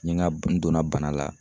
N ye n ka n donna bana la